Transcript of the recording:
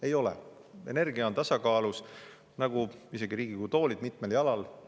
Ei ole, energia on tasakaalus nagu ka Riigikogu toolid, mis on mitmel jalal.